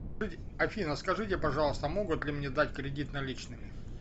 афина скажите пожалуйста могут ли мне дать кредит наличными